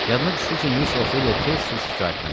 Yadına düşdü ki, Miss Ofeliya tez-tez şikayətlənir.